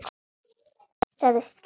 Sagðist skilja það.